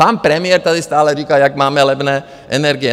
Pan premiér tady stále říká, jak máme levné energie.